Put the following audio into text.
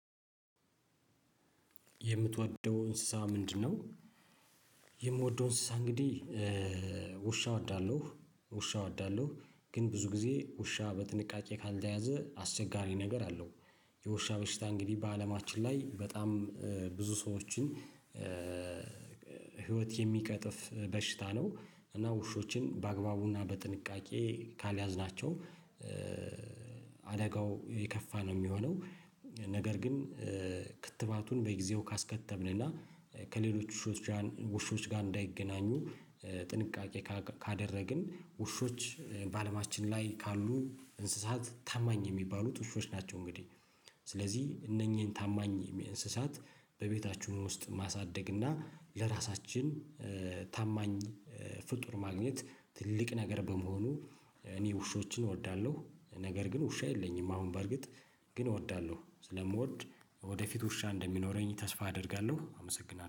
የምትወደው እንስሳ ምንድነው? የምወደው እንስሳ እንግዲህ ውሻ እወዳለሁ ውሻ እወዳለሁ ግን ብዙ ጊዜ ውሻ በጥንቃቄ ካልተያዘ አስቸጋሪ ነገር አለው። የውሻ በሽታ እንግዲህ በአለማችን ላይ በጣም ብዙ ሰዎችን ህይወት የሚቀጥፍ በሽታ ነው። እና ውሾችን በአግባቡና በጥንቃቄ ካልያዝናቸው አደጋው የከፋ ነው የሚሆነው። ነገር ግን ክትባቱን በጊዜው ካስከተብን እና ከሌሎች ውሾች ጋር እንዳይገናኙ ጥንቃቄ ካደረግን ውሾች በአለማችን ላይ ካሉ እንስሳት ታማኝ የሚባሉት ውሾች ናቸው። እንግዲህ ስለዚህ እነኚህን ታማኝ እንስሳት በቤታችን ውስጥ ማሳደግ እና ለራሳችን ታማኝ ፍጡር ማግኘት ትልቅ ነገር በመሆኑ እኔ ውሾችን እወዳለሁ። ነገር ግን ውሻ የለኝም። አሁን በርግጥ ግን እወዳለሁ ስለምወድ ወደፊት ውሻ እንደሚኖረኝ ተስፋ አደርጋለሁ አመሰግናለሁ